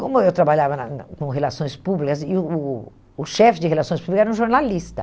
Como eu trabalhava na na com relações públicas, e o o o chefe de relações públicas era um jornalista.